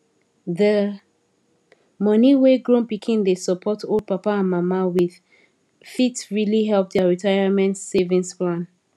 the money wey grown pikin dey support old papa and mama with fit really help their retirement savings plan